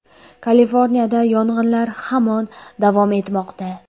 Kaliforniyada yong‘inlar hamon davom etmoqda.